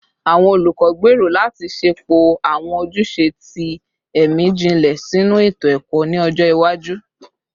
Awọn olukọ gbero lati ṣepọ awọn ojuse ti ẹmi jinlẹ sinu eto-ẹkọ ni ọjọ iwaju